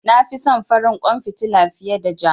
Na fi son farin kwan fitila fiye da ja.